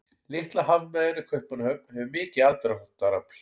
Litla hafmeyjan í Kaupmannahöfn hefur mikið aðdráttarafl.